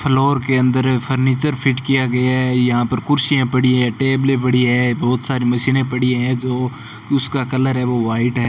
Floor के अंदर furniture fit किया गया है यहां पर कुर्सियां पड़ी है टेबले पड़ी है बहोत सारी मशीने पड़ी हैं जो उसका कलर है वो व्हाइट है।